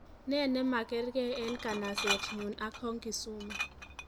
Nee nemakerkei eng kanasetnyu ak Hong Kisumu